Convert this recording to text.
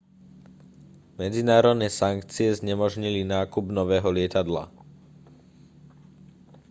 medzinárodné sankcie znemožnili nákup nového lietadla